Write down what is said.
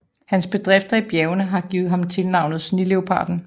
Hans bedrifter i bjergene har givet ham tilnavnet Sneleoparden